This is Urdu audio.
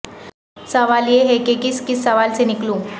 سوال یہ ہے کہ کس کس سوال سے نکلوں